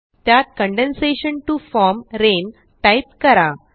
त्यात condensation T O form rain type करा